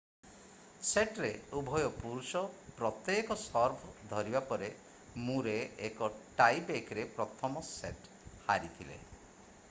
ସେଟ୍‌ରେ ଉଭୟ ପୁରୁଷ ପ୍ରତ୍ୟେକ ସର୍ଭ ଧରିବା ପରେ ମୁରେ ଏକ ଟାଇ ବ୍ରେକ୍‌ରେ ପ୍ରଥମ ସେଟ୍ ହାରିଥିଲେ।